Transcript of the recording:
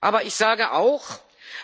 Aber ich sage auch